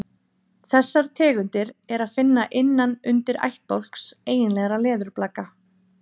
þessar tegundir er að finna innan undirættbálks eiginlegra leðurblaka